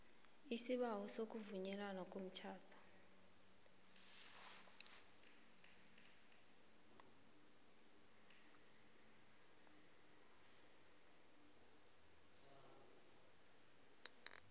isibawo sokuvunywa komtjhado